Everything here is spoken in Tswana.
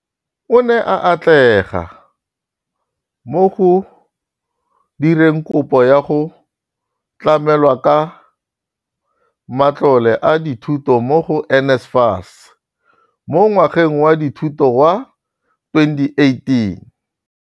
O ne a atlega mo go direng kopo ya go tlamelwa ka matlole a dithuto mo go NSFAS mo ngwageng wa dithuto wa 2018.